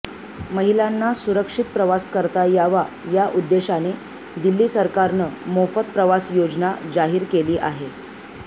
महिलांना सुरक्षित प्रवास करता यावा या उद्देशाने दिल्ली सरकारनं मोफत प्रवास योजना जाहीर केली आहे